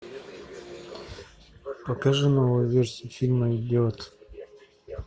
покажи новую версию фильма идиот